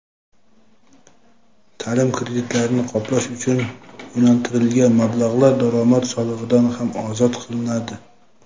taʼlim kreditlarini qoplash uchun yo‘naltirilgan mablag‘lar daromad solig‘idan ham ozod qilinadi.